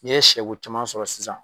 N'i ye siyɛbo caman sɔrɔ sisan.